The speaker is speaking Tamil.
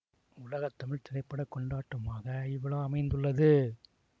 உலக தமிழ் திரை பட கொண்டாட்டமாக இவ்விழா அமைந்துள்ளது